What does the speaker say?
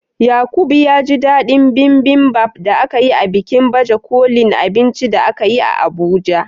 Yaqub ya ji dadin Bibimbap da aka yi a bikin baje kolin abinci da akayi a Abuja.